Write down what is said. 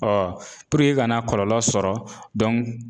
i kana kɔlɔlɔ sɔrɔ